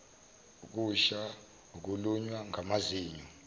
ukusha ukulunywa ngamazinyo